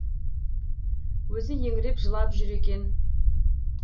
өзі еңіреп жылап жүр екен